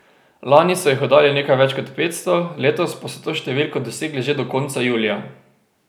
Lani so jih oddali nekaj več kot petsto, letos pa so to številko dosegli že do konca julija.